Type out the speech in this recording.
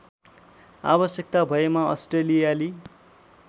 आवश्यकता भएमा अस्ट्रेलियाली